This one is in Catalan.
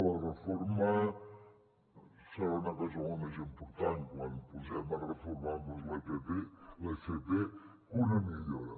la reforma serà una cosa molt més important quan ens posem a reformar l’fp que una millora